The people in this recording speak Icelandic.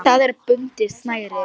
Í það er bundið snæri.